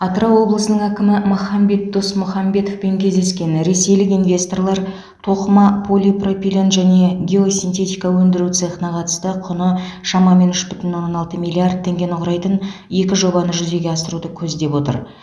атырау облысының әкімі махамбет досмұхамбетовпен кездескен ресейлік инвесторлар тоқыма полипропилен және геосинтетика өндіру цехына қатысты құны шамамен үш бүтін оннан алты миллиард теңгені құрайтын екі жобаны жүзеге асыруды көздеп отыр